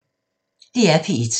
DR P1